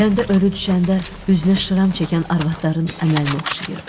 Kəndə ölü düşəndə üzünə şıram çəkən arvadların əməlinə oxşayırdı.